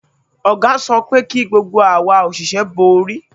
Ọ̀gá sọ pé kí gbogbo awa òṣìṣẹ́ bo orí